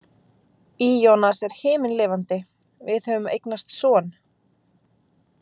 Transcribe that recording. Ionas er himinlifandi, við höfum eignast son.